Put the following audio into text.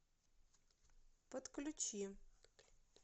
подключи